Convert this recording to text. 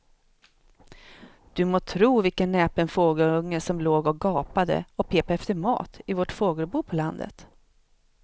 Du må tro vilken näpen fågelunge som låg och gapade och pep efter mat i vårt fågelbo på landet.